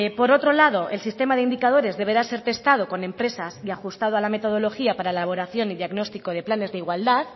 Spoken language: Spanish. por otro lado el sistema de indicadores deberá ser testado con empresas y ajustado a la metodología para elaboración y diagnóstico de planes de igualdad